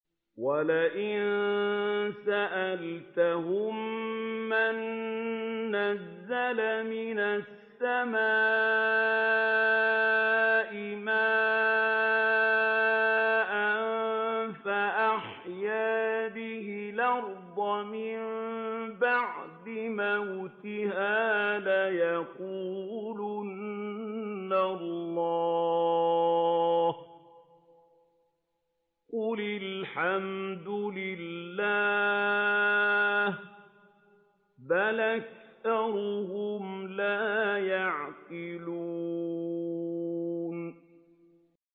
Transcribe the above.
وَلَئِن سَأَلْتَهُم مَّن نَّزَّلَ مِنَ السَّمَاءِ مَاءً فَأَحْيَا بِهِ الْأَرْضَ مِن بَعْدِ مَوْتِهَا لَيَقُولُنَّ اللَّهُ ۚ قُلِ الْحَمْدُ لِلَّهِ ۚ بَلْ أَكْثَرُهُمْ لَا يَعْقِلُونَ